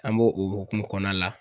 An b'o o hokumu kɔnɔna la.